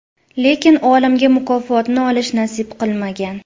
Lekin olimga mukofotni olish nasib qilmagan.